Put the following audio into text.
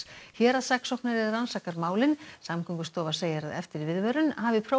héraðssaksóknari rannsakar málin Samgöngustofa segir að eftir viðvörun hafi